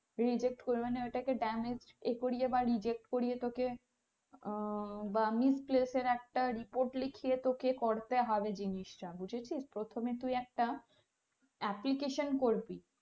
reject করে মানে ওটাকে damage এ করিয়ে বা reject করিয়ে তোকে বা miss cass এর একটা report লিখিয়ে তোকে করতে হবে জিনিসটা বুঝেছিস, প্রথমে তুই একটা application করবি।